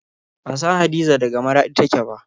Ban san Hadiza daga Maraɗi take ba.